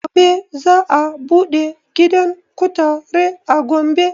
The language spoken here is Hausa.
Gobe za a buɗe gidan kutare a gombe